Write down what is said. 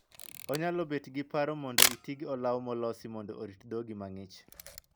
Onyalo bet gi paro mondo itii gi olaw molosi mondo orit dhogi mang'ich.